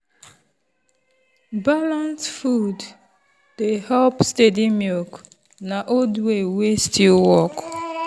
balanced food dey help steady milk na old way wey still work.